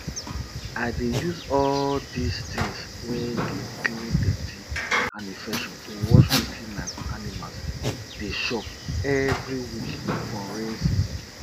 i dey use all dis tins wey dey clean dirty and infection to wash wetin my animals dey chop every week for rain season